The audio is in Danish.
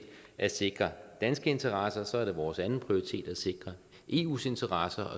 at sikre danske interesser så er det vores anden prioritet at sikre eus interesser